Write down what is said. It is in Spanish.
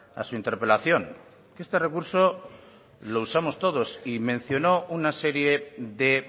a su interpelación que este recurso lo usamos todos y menciono una serie de